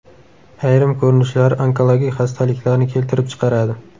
Ayrim ko‘rinishlari onkologik xastaliklarni keltirib chiqaradi.